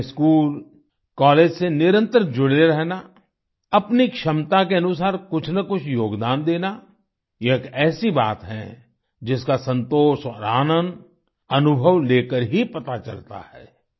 अपने school college से निरंतर जुड़े रहना अपनी क्षमता के अनुसार कुछ न कुछ योगदान देना यह एक ऐसी बात है जिसका संतोष और आनंद अनुभव लेकर ही पता चलता है